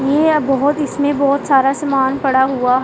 ये यहां बहुत इसमें बहुत सारा सामान पड़ा हुआ--